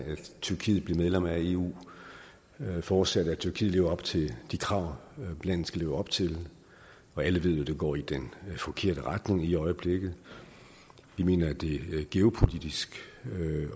tyrkiet bliver medlem af eu forudsat at tyrkiet lever op til de krav landet skal leve op til og alle ved jo at det går i den forkerte retning lige i øjeblikket vi mener at det geopolitisk